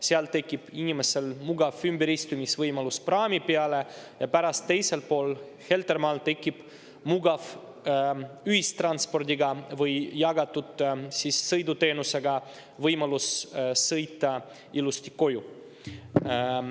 Seal tekib inimestel mugav ümberistumisvõimalus praami peale ja pärast teisel pool, Heltermaal tekib mugav võimalus sõita ühistranspordiga või jagatud sõiduteenusega ilusti koju.